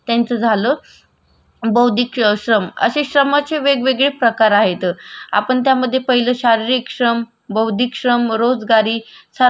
बौद्धिक श्रम म रोजगारी सार्वजनात्मक श्रम असे वेगवेगडे प्रकार आहे. तर आपण शारीरिक श्रमाबद्दल बोलू यात उदाहरणार्थ कामू